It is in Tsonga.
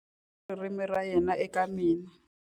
U tlhome ririmi ra yena eka mina.